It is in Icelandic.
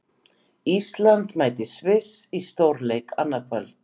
Ísland mætir Sviss í stórleik annað kvöld.